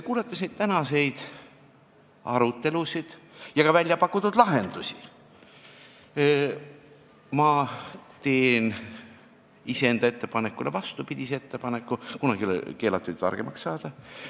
Kuulates tänaseid arutelusid ja ka välja pakutud lahendusi, ma teen iseenda ettepanekule vastupidise ettepaneku – kunagi ei ole keelatud targemaks saada.